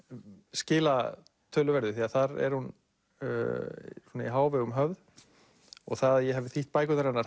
skila töluverðu því þar er hún í hávegum höfð og það að ég hafi þýtt bækurnar hennar